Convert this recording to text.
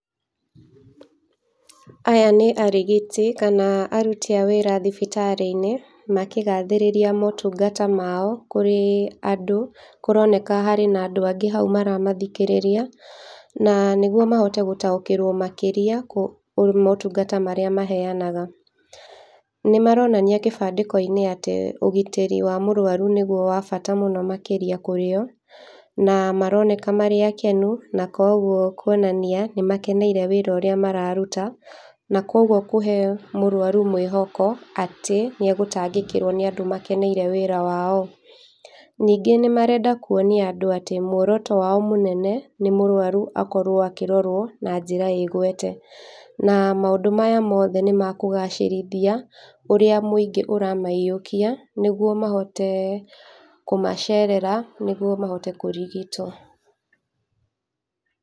Aya nĩ arigiti kana aruti a wĩra thibitarĩ-inĩ makĩgathĩrĩria motungata mao kũrĩ andũ. Kũroneka harĩ na andũ angĩ hau maramathikĩrĩria na nĩguo mahote gũtaũkĩrwo makĩria kũ m motungata marĩa maheanaga. Nĩmaronania kĩbandĩko-inĩ atĩ ũgitĩri wa mũrwaru nĩguo wa bata mũno makĩria kũrĩo na maroneka marĩ akenu kwoguo kwonania nĩmakeneire wĩra ũrĩa mararuta na kwoguo kũhe mũrwaru mwĩhoko atĩ nĩegũtangĩkĩrwo nĩ andũ makeneire wĩra. Ningĩ nĩmarenda kuonia andũ atĩ mworoto wao mũnene nĩ mũrwaru akorwo akĩrorwo na njĩra ĩgwete, na maũndũ maya mothe nĩmakũgacĩrithia ũrĩa mũingĩ ũramaiyũkia nĩguo mahote kũmacerera nĩguo mahote kũrigitwo.